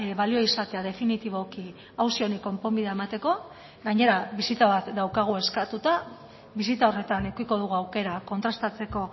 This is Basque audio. balio izatea definitiboki auzi honi konponbidea emateko gainera bisita bat daukagu eskatuta bisita horretan edukiko dugu aukera kontrastatzeko